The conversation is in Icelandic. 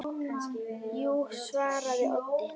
Jú, svaraði Otti.